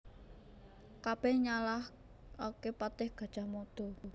Kabèh nyalahaké patih Gajah Mada